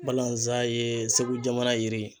Balazan ye Segu jamana yiri ye.